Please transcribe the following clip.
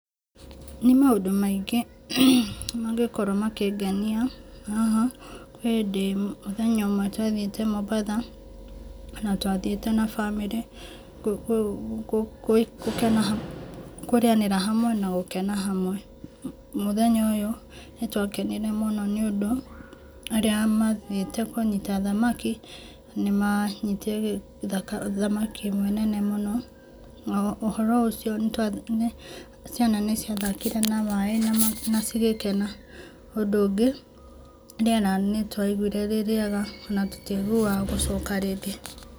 Nĩ maũndũ maingĩ mangĩkorwo makĩngenia haha. He hĩndĩ mũthenya ũmwe twathiĩte mũmbatha na twathiĩte na bamĩrĩ kũ kũ kũkena hamwe kũrĩanĩra hamwe na gũkena hamwe . Mũthenya ũyũ nĩtwakenire mũnũ nĩũndũ arĩa mathiĩte kũnyita thamaki nĩmanyitire thamaki ĩmwe nene mũno. Na ũhoro ũcio ciana nĩciathakire na maĩ na cigĩkena. ũndũ ũngĩ, rĩera nĩtwaiguire rĩrĩega na tũtiaguaga gũcoka rĩngĩ.